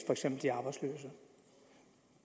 for eksempel de arbejdsløse